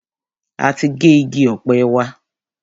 A ti gé igi ọ̀pẹ wa.